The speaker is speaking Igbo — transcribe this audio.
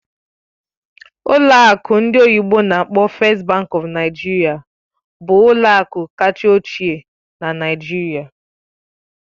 Ụlọ akụ ndị oyibo n'akpọ "First Bank of Nigeria" bụ ụlọ akụ kacha ochie na Nigeria.